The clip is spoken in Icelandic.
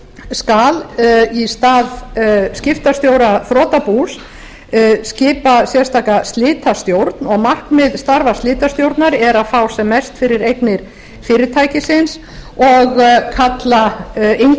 skal í stað skiptastjóra þrotabús skipa sérstaka slitastjórn og markmið starfa slitastjórnar er að fá sem mest fyrir eignir fyrirtækisins og